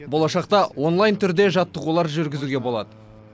болашақта онлайн түрде жаттығулар жүргізуге болады